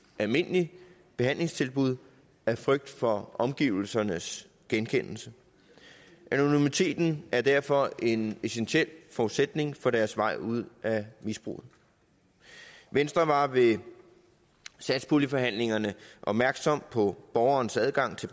almindeligt behandlingstilbud af frygt for omgivelsernes genkendelse anonymiteten er derfor en essentiel forudsætning for deres vej ud af misbruget og venstre var ved satspuljeforhandlingerne opmærksomme på borgerens adgang til